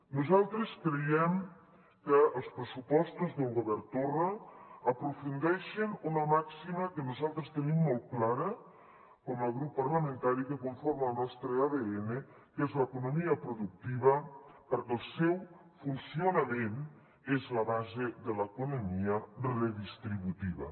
nosaltres creiem que els pressupostos del govern torra aprofundeixen una màxima que nosaltres tenim molt clara com a grup parlamentari que conforma el nostre adn que és l’economia productiva perquè el seu funcionament és la base de l’economia redistributiva